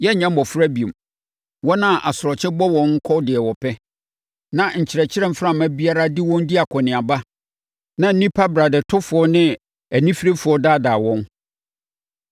Yɛrenyɛ mmɔfra bio, wɔn a asorɔkye bɔ wɔn kɔ deɛ ɛpɛ, na nkyerɛkyerɛ mframa biara de wɔn di akɔneaba na nnipa bradɛtofoɔ ne anifirefoɔ daadaa wɔn.